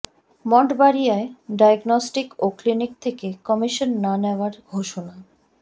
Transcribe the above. মঠবাড়িয়ায় diagnostic ও clinic থেকে commission না নেওয়ার ঘোষণা